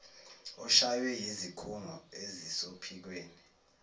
oshaywe yizikhungo ezisophikweni